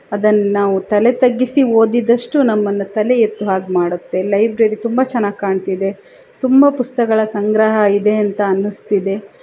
ಅದನ್ನು ನಾವು ತಲೆ ತಗ್ಗಿಸಿ ಓದಿದಷ್ಟು ನಮ್ಮನ್ನ ತಲೆ ಎತ್ತುವ ಹಾಗೆ ಮಾಡುತ್ತೆ. ಲೈಬ್ರರಿ ತುಂಬಾ ಚೆನ್ನಾಗಿ ಕಾಣ್ತ್ತಿದ್ದೆ ತುಂಬಾ ಪುಸ್ತಕ ಸಂಗ್ರಹ ಇದೆ ಅಂತ ಅನ್ಸ್ತ ಇದೆ.